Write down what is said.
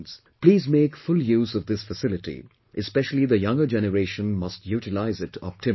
Please make full use of this facility; especially the younger generation must utilize it optimally